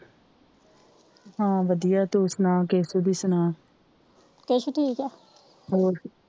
ਕੈਸੁ ਠੀਕ ਆ